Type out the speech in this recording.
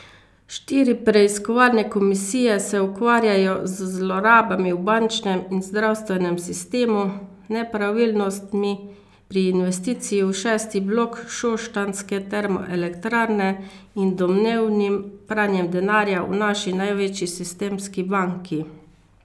Štiri preiskovalne komisije se ukvarjajo z zlorabami v bančnem in zdravstvenem sistemu, nepravilnostmi pri investiciji v šesti blok šoštanjske termoelektrarne in domnevnim pranjem denarja v naši največji sistemski banki.